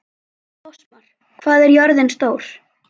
Fossmar, hvað er jörðin stór?